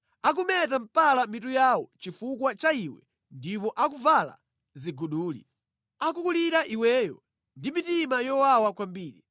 Akumeta mpala mitu yawo chifukwa cha iwe ndipo akuvala ziguduli. Akukulira iweyo ndi mitima yowawa kwambiri.